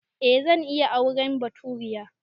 Eh zan iya auren baturiya